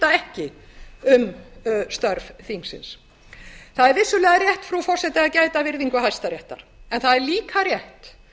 ekki um störf þingsins það er vissulega rétt frú forseti að gæta að virðingu hæstaréttar en það er líka rétt